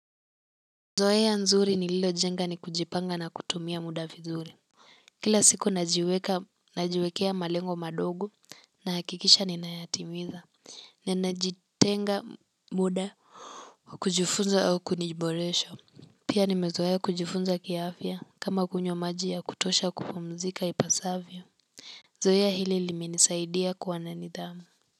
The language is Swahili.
Zoea nzuri nililojenga ni kujipanga na kutumia muda vizuri kila siku najiweka, najiwekea malengo madogo, nahakikisha ninayatimiza. Ninajitenga muda wa kujifunza au kuniboresha, pia nimezoea kujifunza kiafya, kama kunywa maji kutosha kupumzika ipasavyo zoea hili liminisaidia kuwa na nidhamu.